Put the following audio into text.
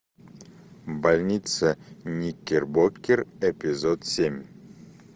больница никербокер эпизод семь